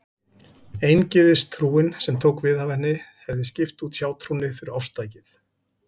Eingyðistrúin, sem tók við af henni, hefði skipt út hjátrúnni fyrir ofstækið.